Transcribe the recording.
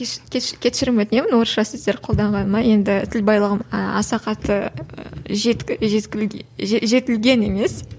кешірім өтінем орысша сөздер қолданғаныма енді тіл байлығым аса қатты жетілген емес